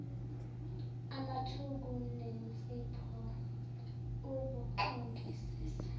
amthuku nensipho uguxungisise